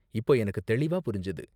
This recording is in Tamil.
இப்போ எனக்கு தெளிவா புரிஞ்சது.